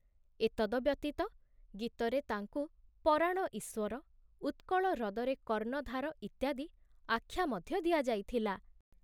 ଏତଦ ବ୍ୟତୀତ ଗୀତରେ ତାଙ୍କୁ ପରାଣ ଈଶ୍ବର, ଉତ୍କଳ ହ୍ରଦରେ କର୍ଣ୍ଣଧାର ଇତ୍ୟାଦି ଆଖ୍ୟା ମଧ୍ୟ ଦିଆଯାଇଥିଲା।